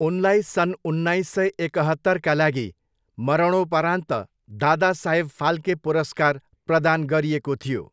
उनलाई सन् उन्नाइस सय एकहत्तरका लागि मरणोपरान्त दादासाहेब फाल्के पुरस्कार प्रदान गरिएको थियो।